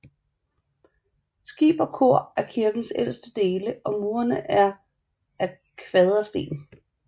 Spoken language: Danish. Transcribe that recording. Skib og kor er kirkens ældste dele og murene er af kvadersten